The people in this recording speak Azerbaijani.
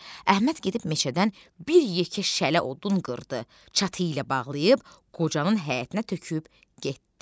Əhməd gedib meşədən bir yekə şələ odun qırdı, çatı ilə bağlayıb qocanın həyətinə töküb getdi.